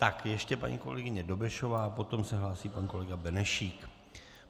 Tak ještě paní kolegyně Dobešová, potom se hlásí pan kolega Benešík.